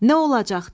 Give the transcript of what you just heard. Nə olacaq?